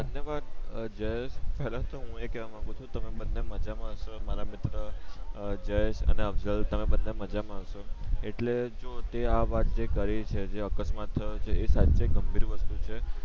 ધન્યવાદ અ જયેશ પેલ્લા તો હું કેવા માંગુ છું તમે બંને મજા માં હસો મારા મિત્ર જયેશ અને અફસલ તમે બંને મજામાં હસો એટલે તે જો આ વાત કરી છે જે અકસ્માત થયો છે એ સાચ્ચે ગંભીર વસ્તુ છે